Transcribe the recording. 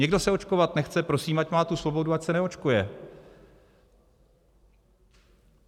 Někdo se očkovat nechce, prosím, ať má tu svobodu, ať se neočkuje.